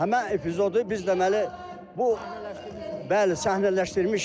Həmən epizodu biz deməli, bəli, səhnələşdirmişik.